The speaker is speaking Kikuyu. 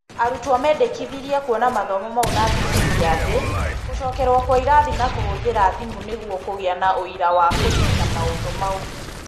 Arutwo mendekithirie kuona mathomo mau na thibindi ya thĩ, gũcokerwo kwa irathi na kũhũthĩra thimũ nĩguo kũgĩa na ũira wa kũnyita maũndũ mau.